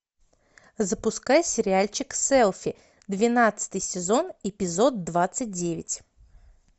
запускай сериальчик селфи двенадцатый сезон эпизод двадцать девять